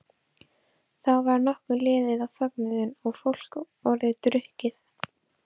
Þá var nokkuð liðið á fögnuðinn og fólk orðið drukkið.